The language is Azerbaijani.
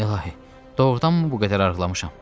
İlahi, doğrudanmı bu qədər arıqlamışam?